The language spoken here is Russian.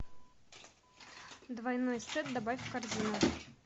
двойной сет добавь в корзину